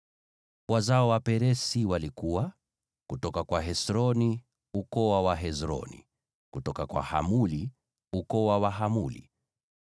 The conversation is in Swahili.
Wazao wa Peresi walikuwa: kutoka kwa Hesroni, ukoo wa Wahesroni; kutoka kwa Hamuli, ukoo wa Wahamuli.